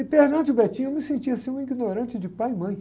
E, perante o, eu me sentia, assim, um ignorante de pai e mãe.